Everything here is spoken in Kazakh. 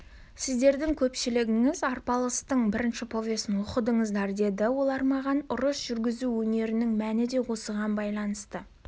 сіздердің көпшілігіңіз арпалыстың бірінші повесін оқыдыңыздар деді олар маған ұрыс жүргізу өнерінің мәні де осыған байланысты